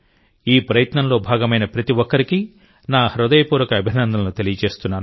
ఈ ప్రయత్నంలో భాగమైన ప్రతి ఒక్కరికీ నా హృదయపూర్వక అభినందనలు తెలియజేస్తున్నాను